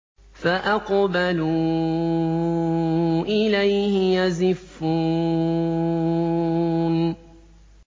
فَأَقْبَلُوا إِلَيْهِ يَزِفُّونَ